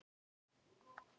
Um það virðist sátt.